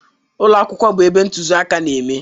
Ụlọ akwụkwọ bụ ebe ntụziaka na-eme.